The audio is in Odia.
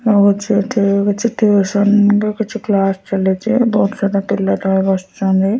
ଆଉ ଅଛି ଏଠି କିଛି ଟିଉସନ ର କିଛି କ୍ଲାସ ଚାଲିଛି ବହୁତ୍ ସାରା ପିଲା ତଳେ ବସିଛନ୍ତି।